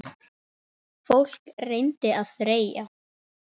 Fólk reyndi að þreyja.